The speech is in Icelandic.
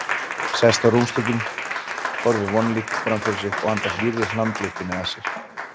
Sest á rúmstokkinn, horfir vonlítill framfyrir sig og andar hlýrri hlandlyktinni að sér.